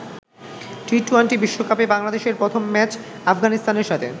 টি-২০ বিশ্বকাপে বাংলাদেশের প্রথম ম্যাচ আফগানিস্তানের সাথে।